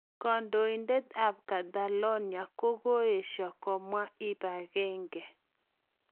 Kandoitet ap Catalonia kokoesha komwa ipangenge